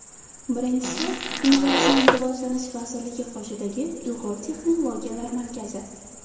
Birinchisi, Innovatsion rivojlanish vazirligi qoshidagi Ilg‘or texnologiyalar markazi.